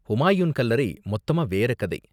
ஹூமாயூன் கல்லறை மொத்தமா வேற கதை.